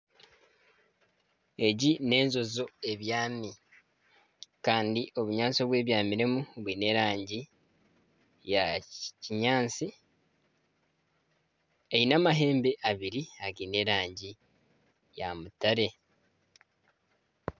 Egi n'enjojo ebyami kandi obunyaatsi obu ebyamiremu bwine erangi ya kinyaatsi. Eine amahembe abiri againe erangi ya mutare.